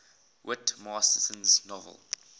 whit masterson's novel